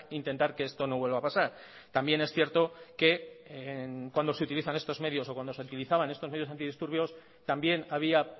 intentar que esto no vuelva a pasar también es cierto que cuando se utilizan estos medios o cuando se utilizaban estos medios antidisturbios también había